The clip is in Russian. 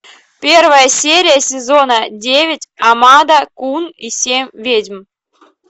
первая серия сезона девять ямада кун и семь ведьм